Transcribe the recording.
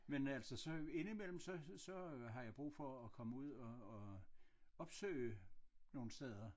Men altså så ind i mellem så så har jeg brug for at komme ud og og opsøge nogen steder